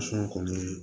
kɔni